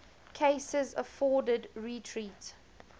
cases afforded retreat